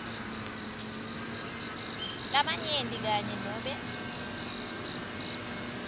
labanyenti kanye nobe